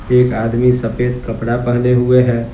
एक आदमी सफेद कपड़ा पहने हुए हैं।